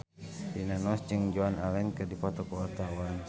Rina Nose jeung Joan Allen keur dipoto ku wartawan